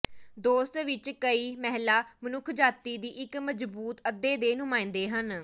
ਦੋਸਤ ਵਿਚ ਕਈ ਮਹਿਲਾ ਮਨੁੱਖਜਾਤੀ ਦੀ ਇੱਕ ਮਜ਼ਬੂਤ ਅੱਧੇ ਦੇ ਨੁਮਾਇੰਦੇ ਹਨ